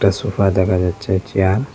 Sofa দেখা যাচ্ছে chair.